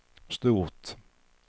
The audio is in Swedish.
stort